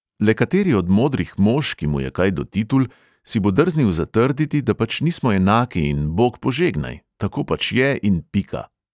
Le kateri od modrih mož, ki mu je kaj do titul, si bo drznil zatrditi, da pač nismo enaki in bog požegnaj, tako pač je in pika!